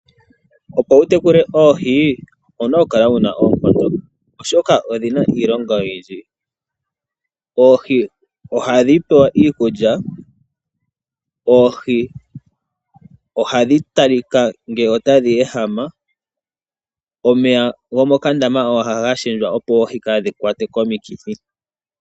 Opo wu tekule oohi owu na okukala wu na oonkondo oshoka odhi na iilonga oyindji. Oohi oha dhi pewa iikulya, oohi oha dhi talika ngele ota dhi ehama nomeya gomokandama oha ga shendjwa opo oohi kaadhi kwatwe komikithi.